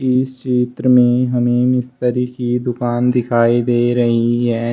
इस चित्र में हमें मिस्त्री की दुकान दिखाई दे रही है।